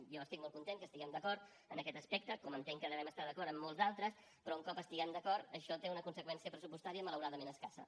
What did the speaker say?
jo estic molt content que estiguem d’acord en aquest aspecte com entenc que devem estar d’acord en molts d’altres però un cop estem d’acord això té una conseqüència pressupostària malauradament escassa